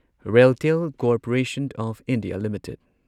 RailTel corporation of India limited